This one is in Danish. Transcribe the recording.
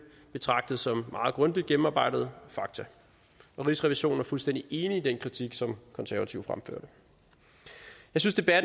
betragtet som meget grundigt gennemarbejdede fakta og rigsrevisionen er fuldstændig enig i den kritik som de konservative fremførte jeg synes at